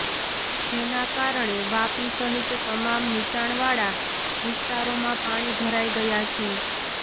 જેના કારણે વાપી સહિત તમામ નીચાણવાળા વિસ્તારોમાં પાણી ભરાઈ ગયા છે